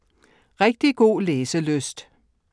Rigtig god læselyst.